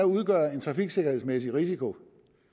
udgøre en trafiksikkerhedsmæssig risiko